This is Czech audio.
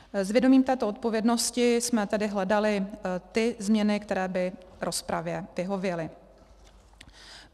S vědomím této odpovědnosti jsme tedy hledali ty změny, které by rozpravě vyhověly.